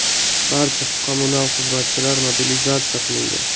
Barcha kommunal xizmatchilar mobilizatsiya qilingan.